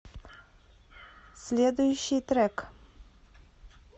следующий трек